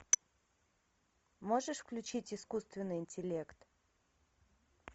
можешь включить искусственный интеллект